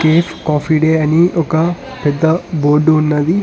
Cafe coffee day అని ఒక పెద్ద బోర్డు ఉన్నది.